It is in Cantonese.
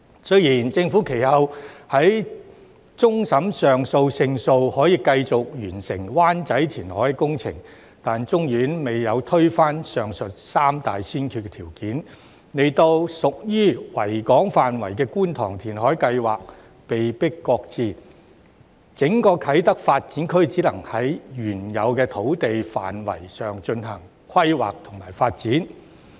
雖然政府其後在終審法院上訴勝訴，可繼續完成灣仔填海工程，但終審法院未有推翻上述三大先決條件，令屬於維港範圍的觀塘填海計劃被迫擱置，整個啟德發展區只能在原有土地範圍上進行規劃和發展。